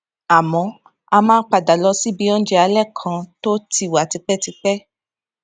àmó ó máa ń padà lọ síbi oúnjẹ alé kan náà tó ti wà tipétipé